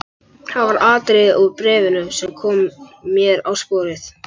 Það var atriði úr bréfinu sem kom mér á sporið.